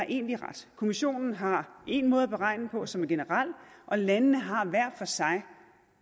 egentlig har ret kommissionen har én måde at beregne det på som er generel og landene har hver for sig